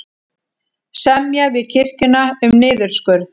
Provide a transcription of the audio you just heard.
Semja við kirkjuna um niðurskurð